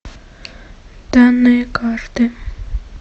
данные карты